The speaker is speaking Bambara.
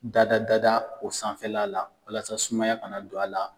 Dada dada o sanfɛla la walasa sumaya kana don a la